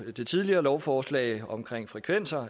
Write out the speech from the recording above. det tidligere lovforslag om frekvenser